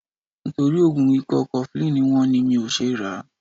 Nítorí oògùn ikọ́ cofflin wọ́n ni mi ò ṣe ràá.